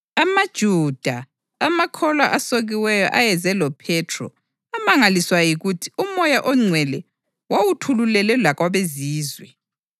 AmaJuda, amakholwa asokiweyo ayeze loPhethro amangaliswa yikuthi uMoya oNgcwele wawuthululelwe lakwabeZizwe.